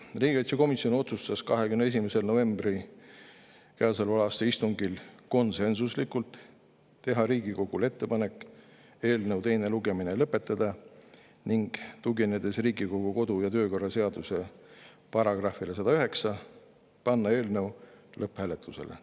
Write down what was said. Riigikaitsekomisjon otsustas käesoleva aasta 21. novembri istungil konsensuslikult teha Riigikogule ettepaneku eelnõu teine lugemine lõpetada, ning tuginedes Riigikogu kodu- ja töökorra seaduse §-le 109, panna eelnõu lõpphääletusele.